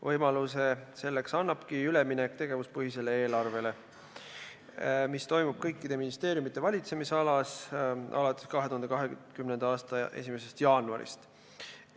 Võimaluse selleks annabki üleminek tegevuspõhisele eelarvele, mis toimub kõikide ministeeriumide valitsemisalas alates 2020. aasta 1. jaanuarist.